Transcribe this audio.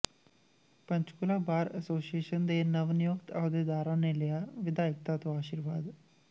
Panchkula bar association ਦੇ ਨਵਨਿਯੁਕਤ ਅਹੁਦੇਦਾਰਾਂ ਨੇ ਲਿਆ ਵਿਧਾਇਕਾ ਤੋਂ ਆਸ਼ੀਰਵਾਦ